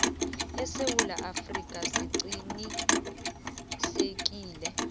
esewula afrika siqinisekise